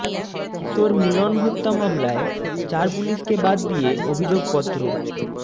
কিশোর মিলন হত্যা মামলায় চার পুলিশকে বাদ দিয়ে অভিযোগপত্র